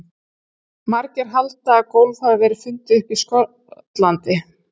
Margir halda að golf hafi verið fundið upp í Skotlandi.